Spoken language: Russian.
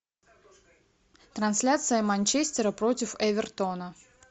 трансляция манчестера против эвертона